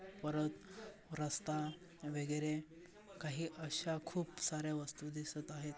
परत रस्ता वगैरे काही अशा खूप सार्‍या वस्तू दिसत आहेत.